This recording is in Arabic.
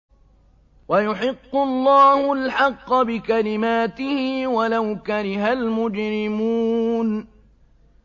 وَيُحِقُّ اللَّهُ الْحَقَّ بِكَلِمَاتِهِ وَلَوْ كَرِهَ الْمُجْرِمُونَ